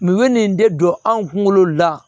Mun ye nin de don anw kunkolo la